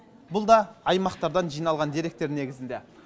бұл да аймақтардан жиналған деректер негізінде